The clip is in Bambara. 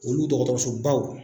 dɔgɔtɔrɔsobaw